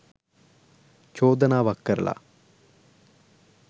චෝදනාවක් කරලා